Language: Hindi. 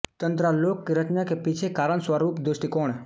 तन्त्रालोक की रचना के पीछे कारण स्वरूप दृष्टिकोण